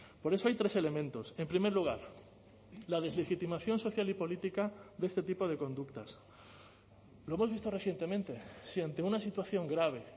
por eso hay tres elementos en primer lugar la deslegitimación social y política de este tipo de conductas lo hemos visto recientemente si ante una situación grave